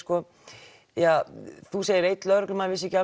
þú segir að einn lögreglumaður vissi ekki